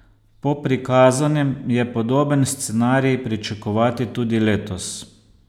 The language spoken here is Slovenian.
Po prikazanem je podoben scenarij pričakovati tudi letos.